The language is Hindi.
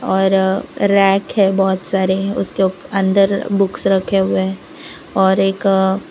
और रैक है बहुत सारे उसके ऊप अंदर बुक्स रखे हुए हैं और एक --